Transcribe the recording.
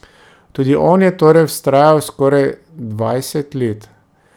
Tudi on je torej vztrajal skoraj dvajset let.